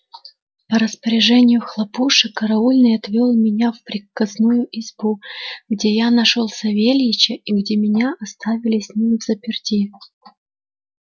по распоряжению хлопуши караульный отвёл меня в приказную избу где я нашёл савельича и где меня оставили с ним взаперти